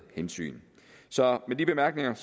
hensyn så med de bemærkninger